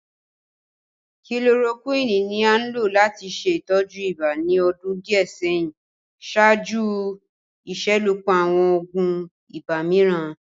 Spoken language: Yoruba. kilorokuini ni a n lo lati ṣe itọju iba ni ọdun diẹ sẹhin ṣaaju iṣelọpọ awọn oogun ibà miiran.